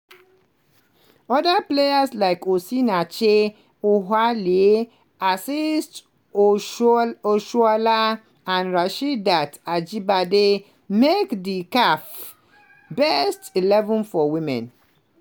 oda players like osinachi ohale asisat oshoala and rasheedat ajibade make di caf best eleven for women.